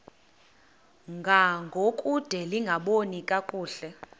ngangokude lingaboni kakuhle